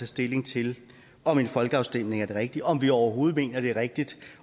stilling til om en folkeafstemning er det rigtige og om vi overhovedet mener at det er rigtigt